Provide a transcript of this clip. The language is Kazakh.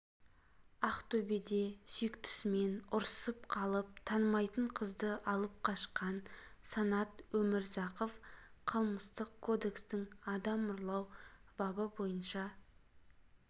ақтөбеде сүйіктісімен ұрысып қалып танымайтын қызды алып қашқан санат өмірзақов қылмыстық кодекстің адам ұрлау бабы бойынша